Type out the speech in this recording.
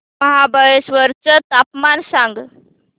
महाबळेश्वर चं तापमान सांग